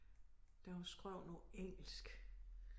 Der var skrevet noget engelsk